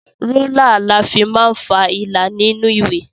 Rúlà la fi máa ń falà nínú ìwé.